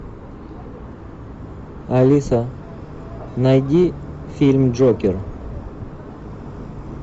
алиса найди фильм джокер